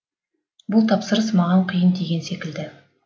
бұл тапсырыс маған қиын тиген секілді